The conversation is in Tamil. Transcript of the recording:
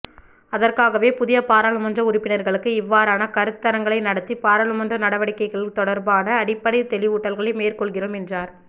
அதற்காகவே புதிய பாராளுமன்ற உறுப்பினர்களுக்கு இவ்வாறான கருத்தரங்களை நடத்தி பாராளுமன்ற நடவடிக்கைகள் தொடர்பான அடிப்படை தெளிவூட்டல்களை மேற்கொள்கின்றோம் என்றார்